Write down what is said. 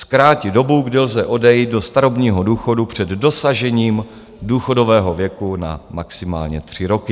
- zkrátit dobu, kdy lze odejít do starobního důchodu před dosažením důchodového věku, na maximálně tři roky;